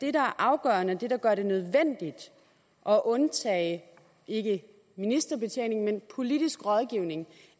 er afgørende og det der gør det nødvendigt at undtage ikke ministerbetjening men politisk rådgivning